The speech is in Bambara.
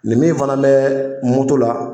Nin min fana bɛ moto la